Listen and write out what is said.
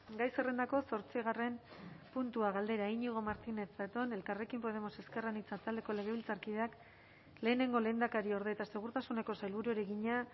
gai zerrendako zortzigarren puntua galdera iñigo martínez zatón elkarrekin podemos ezker anitza taldeko legebiltzarkideak lehenengo lehendakariorde eta segurtasuneko sailburuari egina